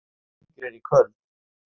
Góa, hvaða leikir eru í kvöld?